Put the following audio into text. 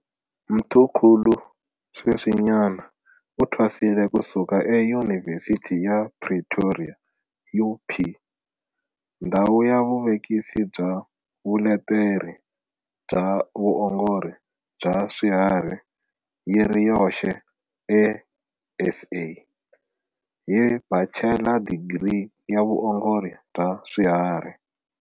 Mthimkhulu sweswinyana u thwasile ku suka eYunivhesithi ya Pretoria, UP, ndhawu ya vuvevukisi bya vuleteri bya vuongori bya swiharhi yi ri yoxe eSA, hi Bachela Digiri ya Vuongori bya Swiharhi.